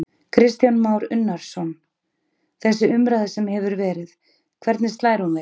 Kristján Már Unnarsson: Þessi umræða sem hefur verið, hvernig slær hún þig?